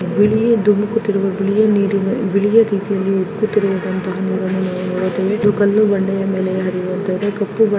ಬಿಳಿಯ ದುಂಡಕುತ್ತಿರುವ ಬಿಳಿಯ ನೀರು ಬಿಳಿಯ ರೀತಿಯಲ್ಲಿ ಉಕ್ಕುತಿದೆ ಇಲ್ ಬಂದು ನೋಡಬಹುದು. ಕಲ್ಲು ಬಂಡೆಯ ಮೇಲೆ ಇದು ಇರುವಂತ ಕಪ್ಪು ಬಣ್ಣ --